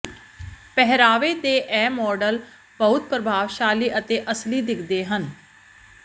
ਪਹਿਰਾਵੇ ਦੇ ਇਹ ਮਾਡਲ ਬਹੁਤ ਪ੍ਰਭਾਵਸ਼ਾਲੀ ਅਤੇ ਅਸਲੀ ਦਿਖਦੇ ਹਨ